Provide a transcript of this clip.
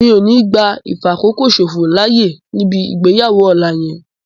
Mi ò ní gbá ìfàkókòṣòfò láyè níbi ìgbéyàwó ọ̀la yẹn